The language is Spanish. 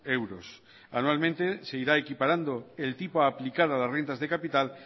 euros anualmente seguirá equiparando el tipo aplicado de renta de capital